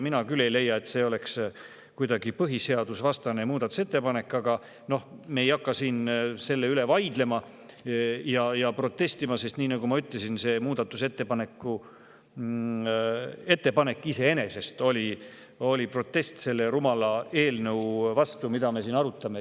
Mina küll ei leia, et see oleks olnud kuidagi põhiseadusvastane ettepanek, aga no me ei hakka siin selle üle vaidlema ja protestima, sest nii nagu ma ütlesin, meie muudatusettepanek iseenesest oli protest selle rumala eelnõu vastu, mida me siin arutame.